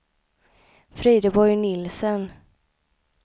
Frideborg Nielsen